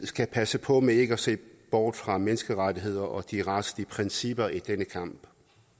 skal passe på med ikke at se bort fra menneskerettigheder og de retslige principper i denne kamp